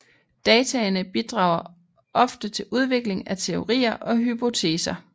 Dataene bidrager ofte til udvikling af teorier og hypoteser